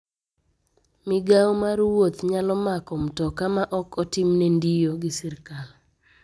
Migao mar wuoth nyalo mako mtoka ma ok otimne ndio gi sirkal.